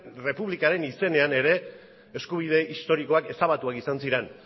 errepublikaren izenean ere eskubide historikoak ezabatuak izan ziren